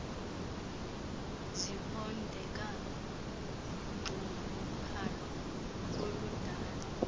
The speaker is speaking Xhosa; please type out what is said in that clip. zibondeka unxunguphalo oludalwa